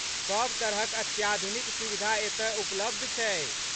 सभ तरहक अत्याधुनिक सुविधा एतय उपलब्ध छै।